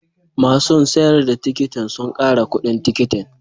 Masun sayar da tikitin sun kara kudin tikitin.